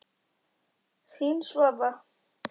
Þín, Svava.